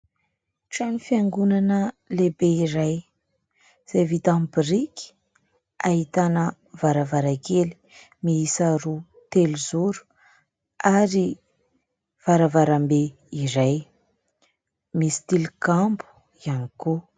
Trano fiangonana lehibe iray izay vita amin'ny biriky. Ahitana varavarankely miisa roa telozoro ary varavaram-be iray, misy tilikambo ihany koa.